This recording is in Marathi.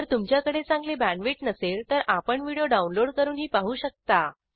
जर तुमच्याकडे चांगली बॅण्डविड्थ नसेल तर आपण व्हिडिओ डाउनलोड करूनही पाहू शकता